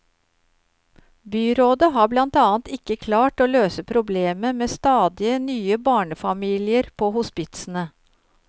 Byrådet har blant annet ikke klart å løse problemet med stadige nye barnefamilier på hospitsene.